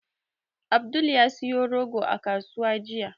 Abdul ya siyo rogo a kasuwa jiya.